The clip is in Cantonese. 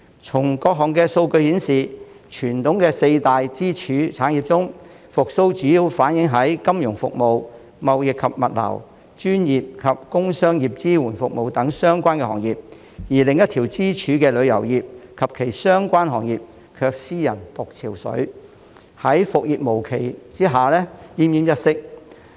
從各項數據顯示，傳統的四大支柱產業中，復蘇主要反映在金融服務、貿易及物流、專業及工商業支援服務等相關行業，而另一條支柱的旅遊業及其相關行業卻斯人獨憔悴，在復業無期下奄奄一息。